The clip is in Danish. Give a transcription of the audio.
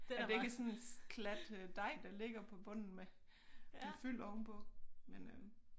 At det ikke er sådan en klat øh dej der ligger på bunden med med fyld ovenpå men øh